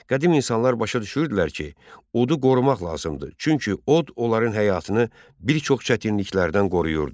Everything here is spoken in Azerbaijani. Qədim insanlar başa düşürdülər ki, odu qorumaq lazımdır, çünki od onların həyatını bir çox çətinliklərdən qoruyurdu.